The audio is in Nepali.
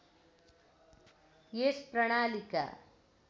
यस प्रणालीका